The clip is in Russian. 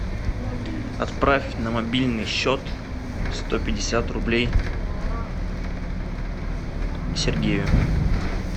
отправь на мобильный счет сто пятьдесят рублей сергею